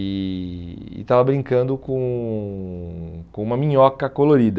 E estava brincando com com uma minhoca colorida.